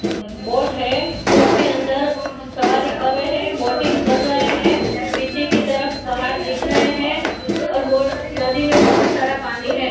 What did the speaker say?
Boat है boat के अंदर सवारी कर रहे है बोटिंग कर रहे हैं पीछे की तरफ पहाड़ दिख रहे है और बो नदी में बहोत सारा पानी है।